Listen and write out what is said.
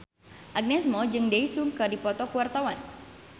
Agnes Mo jeung Daesung keur dipoto ku wartawan